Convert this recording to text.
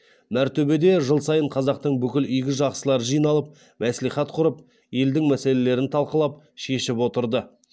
мәртөбеде жыл сайын қазақтың бүкіл игі жақсылары жиналып мәслихат құрып елдің мәселелерін талқылап шешіп отырды